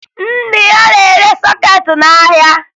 Nna ya na-ere sọkeetị n'ahịa